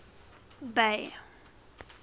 bay